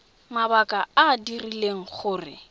mabaka a a dirileng gore